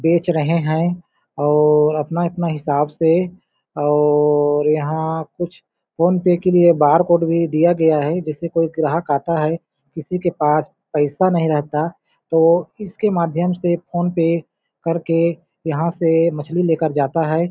बेच रहे है और अपना-अपना हिसाब से और यहाँ कुछ फ़ोन पे के लिए बारकोड दिया गया है जिससे कोई ग्राहक आता है किसी के पास पइसा नहीं रहता तो इसके माध्यम से फ़ोन पे करके यहाँ से मछली लेकर जाता है।